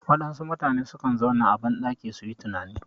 Waɗansu mutane sukan zauna a ban ɗaki suyi tunani